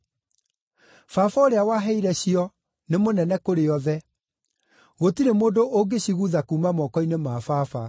Baba ũrĩa waheire cio, nĩ mũnene kũrĩ othe; gũtirĩ mũndũ ũngĩcigutha kuuma moko-inĩ ma Baba.